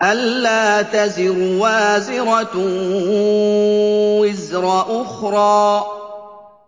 أَلَّا تَزِرُ وَازِرَةٌ وِزْرَ أُخْرَىٰ